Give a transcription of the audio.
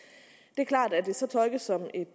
er klart at hvis det så tolkes som et